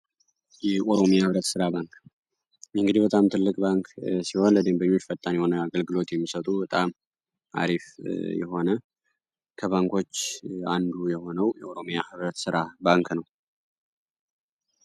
የኦሮሚያ ህብረት ሥራ ባንክ የእንግዲ በጣም ትልቅ ባንክ ሲሆን ለዴንበኙ ችፈጣን የሆነ አገልግሎት የሚሰጡ በጣም አሪፍ የሆነ ከባንኮች አንዱ የሆነው የኦሮሚያ ህብረት ሥራ ባንክ ነው።